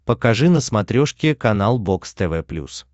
покажи на смотрешке канал бокс тв плюс